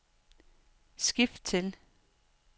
skift til